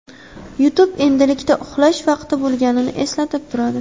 YouTube endilikda uxlash vaqti bo‘lganini eslatib turadi.